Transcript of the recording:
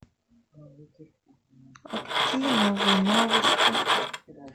а какие новые новости